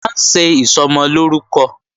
À ń ṣe Ìsọmọlórúkọ